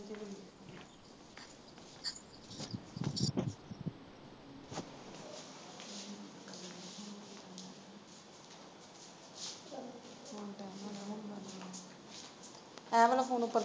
ਆ ਵਾਲਾ ਫੋਨ ਉਪਰ।